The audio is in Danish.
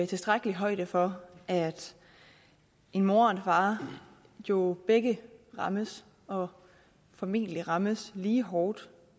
tilstrækkelig højde for at en mor og en far jo begge rammes og formentlig rammes lige hårdt